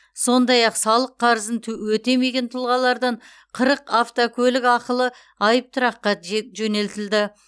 сондай ақ салық қарызын өтемеген тұлғалардан қырық автокөлік ақылы айыптұраққа жөнелтілді